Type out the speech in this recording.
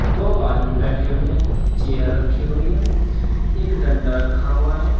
दो आदमी बैठे हुए हैं चेयर रखी हुई है एक डंडा रखा हुआ है।